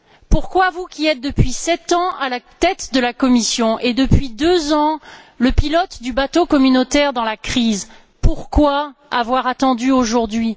Pourquoi vous qui êtes depuis sept ans à la tête de la Commission et depuis deux ans le pilote du bateau communautaire dans la crise avoir attendu aujourd'hui?